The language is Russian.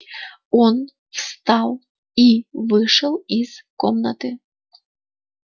он встал и вышел из комнаты